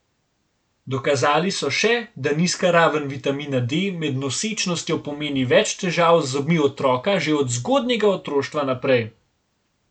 Dokazali so še, da nizka raven vitamina D med nosečnostjo pomeni več težav z zobmi otroka že od zgodnjega otroštva naprej.